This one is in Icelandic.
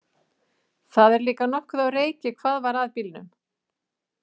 Það er líka nokkuð á reiki hvað var að bílnum.